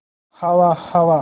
हवा हवा